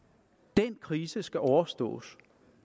den krise skal overstås